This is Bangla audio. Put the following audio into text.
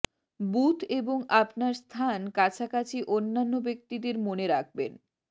বুথ এবং আপনার স্থান কাছাকাছি অন্যান্য ব্যক্তিদের মনে রাখবেন